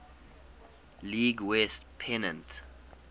league west pennant